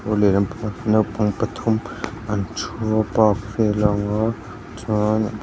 naupang pathum an thu a park chuan.